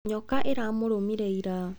Nyoka ĩramũrũmire ira.